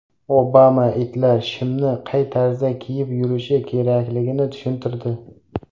Obama itlar shimni qay tarzda kiyib yurishi kerakligini tushuntirdi.